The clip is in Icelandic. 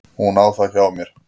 Hún á það hjá mér.